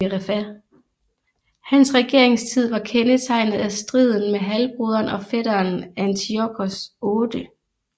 Hans regeringstid var kendetegnet af striden med halvbroderen og fætteren Antiochos 8